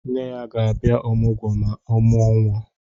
Nne ya ga-abia ọmụgwọ ma o muo nwa.